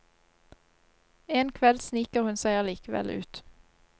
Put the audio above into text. En kveld sniker hun seg allikevel ut.